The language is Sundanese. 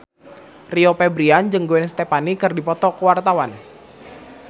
Rio Febrian jeung Gwen Stefani keur dipoto ku wartawan